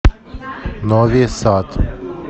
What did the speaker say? нови сад